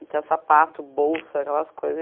Então, sapato, bolsa, aquelas coisas.